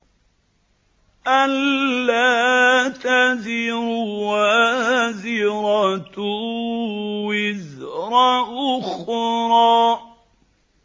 أَلَّا تَزِرُ وَازِرَةٌ وِزْرَ أُخْرَىٰ